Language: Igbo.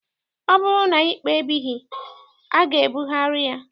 Ọ bụrụ na ikpe ebighị, a ga-ebugharị ya.